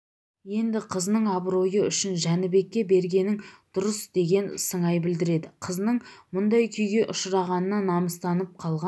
енді қызының абыройы үшін жәнібекке бергенің дұрыс деген сыңай білдіреді қызының мұндай күйге ұшырағанына намыстанып қалған